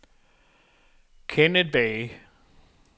Kenneth Bay